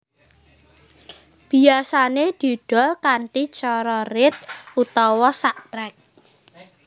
Biyasané didol kanthi cara rit utawa sak trek